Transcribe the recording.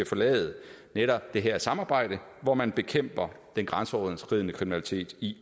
forlade netop det her samarbejde hvor man bekæmper den grænseoverskridende kriminalitet i